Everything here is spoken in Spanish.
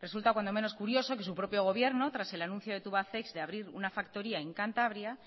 resulta cuando menos curioso que su propio gobierno tras el anuncio de tubacex de abrir una factoría en cantabria